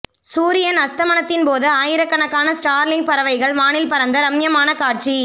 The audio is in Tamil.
சூரியன் அஸ்தமனத்தின் போது ஆயிரக்கணக்கான ஸ்டார்லிங் பறவைகள் வானில் பறந்த ரம்மியமான காட்சி